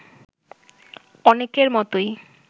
অনেকের মতোই